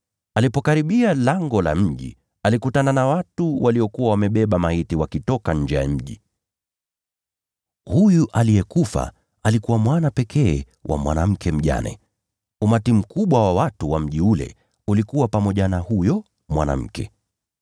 Alipokaribia lango la mji, alikutana na watu waliokuwa wamebeba maiti wakitoka nje ya mji. Huyu aliyekufa alikuwa mwana pekee wa mwanamke mjane. Umati mkubwa wa watu wa mji ule ulikuwa pamoja na huyo mwanamke.